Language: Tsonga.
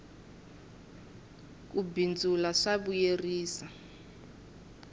ku bindzula swa vuyerisa